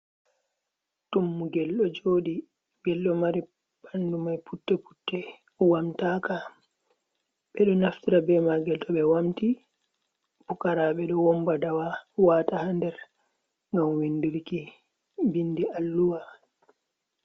Tummugel ɗo jooɗi, ngel ɗo mari ɓandu mai putte-putte, wamtaaka. Ɓe ɗo naftira be maagel to ɓe wamti, pukaraaɓe ɗo womba dawa, waata ha nder, ngam windirki bindi alluha.